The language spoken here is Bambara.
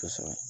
Kosɛbɛ